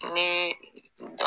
Ne